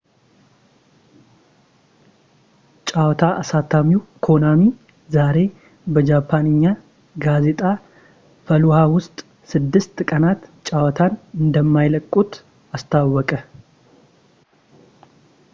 ጨዋታ አሳታሚው ኮናሚ ዛሬ በጃፓንኛ ጋዜጣ ፋሉሃ ውስጥ ስድስት ቀናት ጨዋታን እንደማይለቁት አሳወቀ